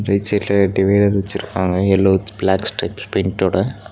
எக்ஸிட்ல divider வச்சுருக்காங்க yellow with black stretch பெயிண்ட்டோட .